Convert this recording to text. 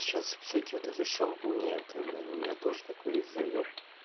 сейчас всякие вот эти шампуни это блин у меня тоже такой есть заеб